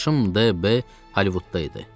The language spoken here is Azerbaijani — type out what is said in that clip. Qardaşım D.B. Hollivudda idi.